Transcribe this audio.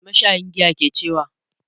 Mai mashayin giyan ke cewa?